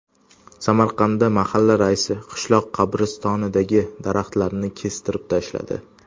Samarqandda mahalla raisi qishloq qabristonidagi daraxtlarni kestirib tashladi.